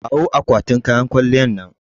Kawo akwatin kayan kwalliyar nan.